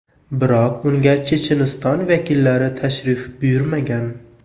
Biroq unga Checheniston vakillari tashrif buyurmagan.